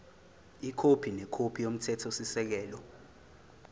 ikhophi nekhophi yomthethosisekelo